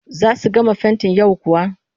Za su gama fentin yau kuwa?